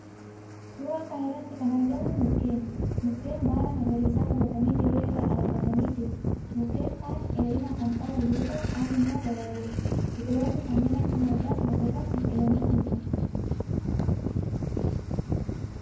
Suuraa kana irratti kan argamu mukkeeni. Mukkeen baala magariisa godhatanii dirree irra dhaabbatanii jiru. Mukkeen kaan dheerina kan qaban yoo ta'u, kaan immoo gabaaboodha. Biqiloonni kanneen akka margaas lafa irratti biqilanii mul'atu.